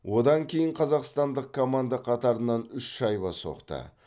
одан кейін қазақстандық команда қатарынан үш шайба соқты